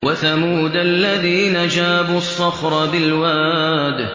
وَثَمُودَ الَّذِينَ جَابُوا الصَّخْرَ بِالْوَادِ